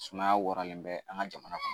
Sumaya waralen bɛ an ka jamana